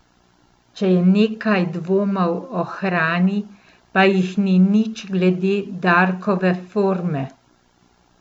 Če je nekaj dvomov o hrani, pa jih ni nič glede Darkove forme.